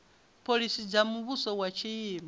phoḽisi dza muvhuso wa tshino